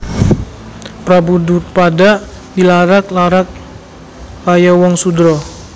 Prabu Drupada dilarak larak kaya wong sudra